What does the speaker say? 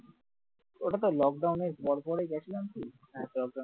ওটাতো lock down পর পরই দেখলাম কি? হ্যাঁ পর পরই